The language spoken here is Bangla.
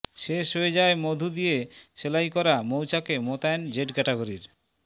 শেষ হয়ে যায় মধু দিয়ে সেলাইকরা মৌচাকে মোতায়েন জেড ক্যাটাগরির